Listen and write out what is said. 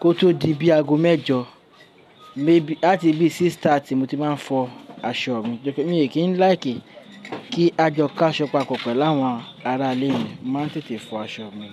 kó tó di bí aago mẹ́jọ láti bí 6:30 ní mo ti máa ń fọ aṣọ mi. Mi ò kí ń láìkí kí a jo k'aṣọ papọ̀ pẹ̀lú àwọn ará ilé mi, màá ń tètè fọ aṣọ mi.